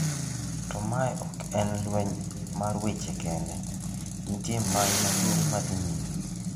To mae ok en lweny mar wache kende, nitie mai maduong ma dhi nyime.